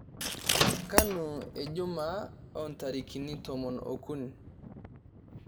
kanu jumaa oontarikini tomon okuni